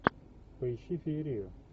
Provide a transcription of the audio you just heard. поищи феерию